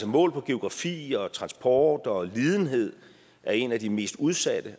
målt på geografi og transport og lidenhed er en af de mest udsatte